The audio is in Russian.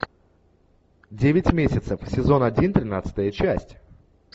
девять месяцев сезон один тринадцатая часть